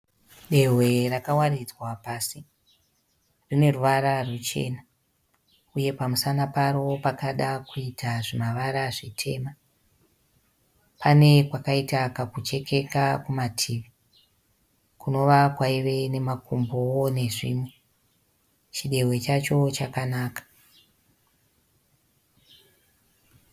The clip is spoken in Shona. Dehwe rakawaridzwa pasi. Rine ruvara ruchena uye pamusana paro pakada kuita zvimavara zvitema. Pane kwakaita kakuchekeka kumativi, kunova kwaive nemakumbowo nezvimwe. Chidehwe chacho chakanaka.